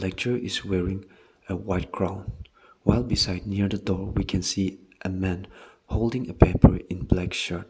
lecturer is wearing a white gown while beside near the door we can see a man holding a paper in black shirt.